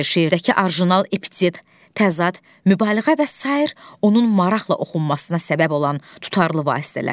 Şeirdəki orijinal epitet, təzad, mübaliğə və sair onun maraqla oxunmasına səbəb olan tutarlı vasitələrdir.